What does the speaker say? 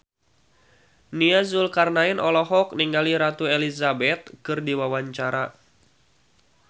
Nia Zulkarnaen olohok ningali Ratu Elizabeth keur diwawancara